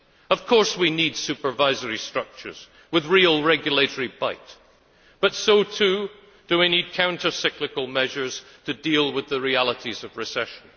Of course we need supervisory structures with real regulatory bite, but so too do we need counter cyclical measures to deal with the realities of recession.